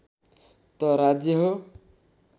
त राज्य हो